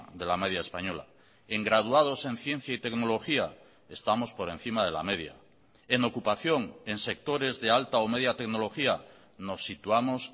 de la media española en graduados en ciencia y tecnología estamos por encima de la media en ocupación en sectores de alta o media tecnología nos situamos